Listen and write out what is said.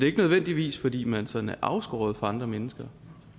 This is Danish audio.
ikke nødvendigvis fordi man sådan er afskåret fra andre mennesker